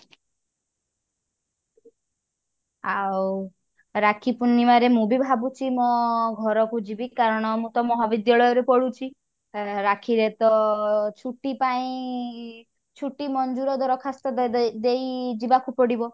ଆଉ ରାକ୍ଷୀ ପୁର୍ଣିମାରେ ମୁଁ ବି ଭାବୁଛି ମୋ ଘରକୁ ଯିବି କାରଣ ମୁଁ ତ ମହାବିଦ୍ୟାଳୟ ରେ ପଢୁଛି ଏ ରାକ୍ଷୀ ରେ ତ ଛୁଟି ପାଇଁ ଛୁଟି ମଞ୍ଜୁର ଦରଖାସ୍ତ ଦେ ଦେଇ ଯିବାକୁ ପଡିବ।